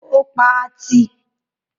Ó pa á tì.